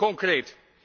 concreet?